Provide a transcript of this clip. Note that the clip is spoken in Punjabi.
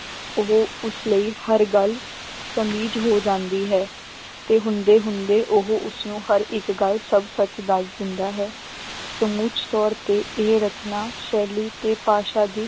ਉਹ ਉਸ ਲਈ ਹਰ ਗੱਲ ਹੋ ਜਾਂਦੀ ਹੈ ਤੇ ਹੁੰਦੇ ਹੁੰਦੇ ਉਹ ਉਸਨੂੰ ਹਰ ਇੱਕ ਗੱਲ ਸਭ ਸੱਚ ਦੱਸ ਦਿੰਦਾ ਹੈ ਸਮੁੱਚੇ ਤੌਰ ਤੇ ਇਹ ਰਚਨਾ ਸ਼ੈਲੀ ਤੇ ਭਾਸ਼ਾ ਦੀ